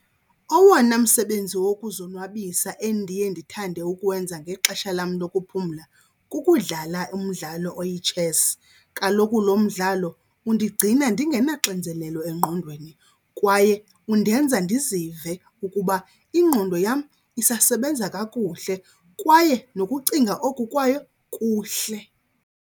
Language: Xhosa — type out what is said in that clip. Owona msebenzi wokuzonwabisa endiye ndithande ukuwenza ngexesha lam lokuphumla kukudlala umdlalo oyitshesi. Kaloku lo mdlalo undigcina ndingenaxinzelelo engqondweni kwaye undenza ndizive ukuba ingqondo yam isasebenza kakuhle kwaye nokucinga oku kwayo kuhle.